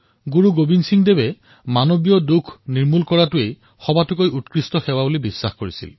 শ্ৰী গোৱিন্দ সিঙে মানৱৰ দুখ দূৰ কৰাকেই ডাঙৰ সেৱা বুলি ভাবিছিল